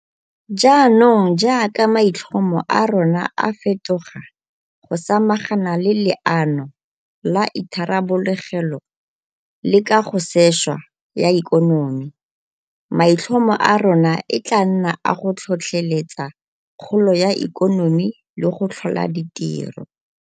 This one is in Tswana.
Jaanong jaaka maitlhomo a rona a fetoga go samagana le Leano la Itharabologelo le Kagosešwa ya Ikonomi, maitlhomo a rona e tla nna a go tlhotlheletsa kgolo ya ikonomi le go tlhola ditiro.